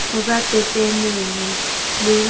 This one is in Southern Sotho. ho ba pepenene le ho